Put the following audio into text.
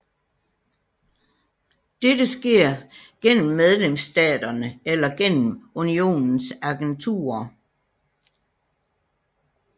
Dette sker gennem medlemsstaterne eller gennem Unionens agenturer